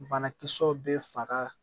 Banakisɛw bɛ faga